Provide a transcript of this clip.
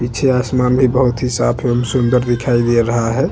पीछे आसमान भी बहुत ही साफ एवं सुंदर दिखाई दे रहा है।